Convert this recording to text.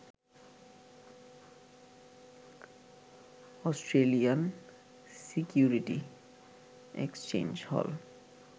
Australian security exchange হল